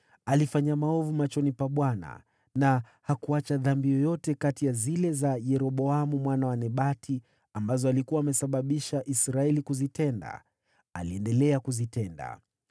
Alifanya maovu machoni pa Bwana , na hakuacha dhambi yoyote kati ya zile za Yeroboamu mwana wa Nebati ambazo alikuwa amesababisha Israeli kuzitenda, bali aliendelea kuzitenda.